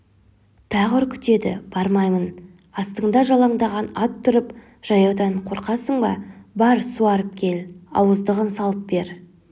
тағы үркітеді бармаймын астыңда жалаңдаған ат тұрып жаяудан қорқасың ба бар суарып кел ауыздығын салып бер